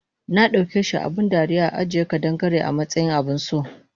Nadaukeshi abun dariya ajiye ƙadan-Gare amatsayin abunso